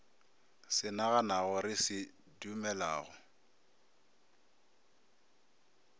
se naganago re se dumelago